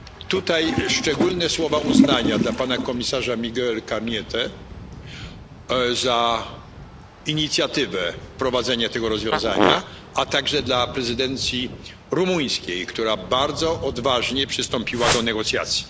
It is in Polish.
Tutaj szczególne słowa uznania dla pana komisarza Miguela Cañete za inicjatywę wprowadzenia tego rozwiązania, a także dla prezydencji rumuńskiej, która bardzo odważnie przystąpiła do negocjacji.